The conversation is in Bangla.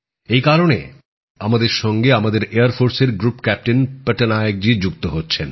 এই কারণে আমাদের সঙ্গে আমাদের বিমান বাহিনীর গ্রুপ ক্যাপ্টেন পটনায়ক জি যুক্ত হচ্ছেন